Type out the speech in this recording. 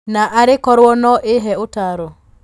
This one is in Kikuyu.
Na arĩ korũo no ihe ũtaaro